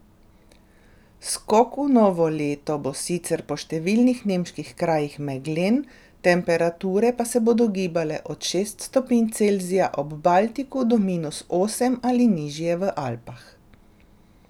Skok v novo leto bo sicer po številnih nemških krajih meglen, temperature pa se bodo gibale od šest stopinj Celzija ob Baltiku do minus osem ali nižje v Alpah.